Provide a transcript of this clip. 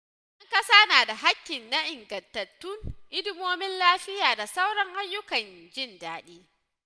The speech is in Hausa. ’Yan kasa na da haƙƙi ga ingantattun hidimomin lafiya da sauran ayyukan jin daɗi.